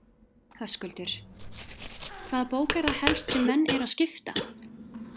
Höskuldur: Hvaða bók er það helst sem menn eru að skipta?